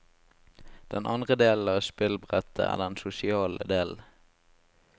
Den andre delen av spillbrettet er den sosiale delen.